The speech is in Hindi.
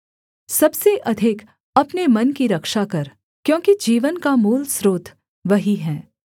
सबसे अधिक अपने मन की रक्षा कर क्योंकि जीवन का मूल स्रोत वही है